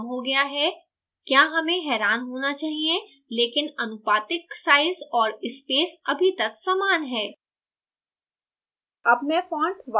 font size कम हो गया है – क्या hey हैरान होना चाहिए लेकिन आनुपातिक size और स्पेस अभी तक समान हैं